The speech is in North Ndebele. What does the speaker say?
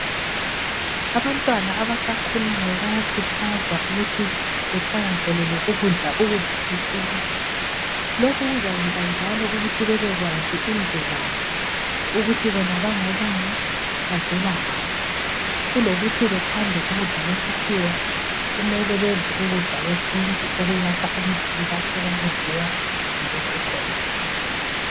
Abantwana abasakhulayo bayakhuthazwa ukuthi bethakazelele ukudla ukudla kwesintu. Lokhu kuzayenza njalo ukuthi bebekwazi imvelaphi. Ukuthi bona bangobani bavelangaphi. Kulokuthi bathande ukudla kwe sikhiwa. Kumele bedle ukudla kwesintu okuyakha imzimba okwakudliwa ngabokhokho bethu.